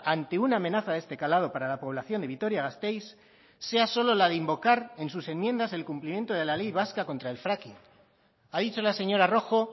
ante una amenaza de este calado para la población de vitoria gasteiz sea solo la de invocar en sus enmiendas el cumplimiento de la ley vasca contra el fracking ha dicho la señora rojo